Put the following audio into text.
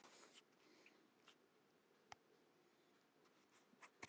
Nokkrir flissuðu þegar minnst var á skotárásina á kaupfélagsstjórann.